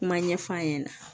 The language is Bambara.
Kuma ɲɛf'a ɲɛna